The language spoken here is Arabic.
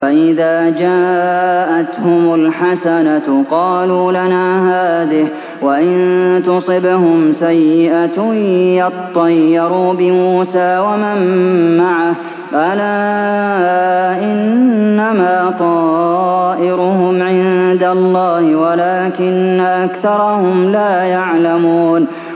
فَإِذَا جَاءَتْهُمُ الْحَسَنَةُ قَالُوا لَنَا هَٰذِهِ ۖ وَإِن تُصِبْهُمْ سَيِّئَةٌ يَطَّيَّرُوا بِمُوسَىٰ وَمَن مَّعَهُ ۗ أَلَا إِنَّمَا طَائِرُهُمْ عِندَ اللَّهِ وَلَٰكِنَّ أَكْثَرَهُمْ لَا يَعْلَمُونَ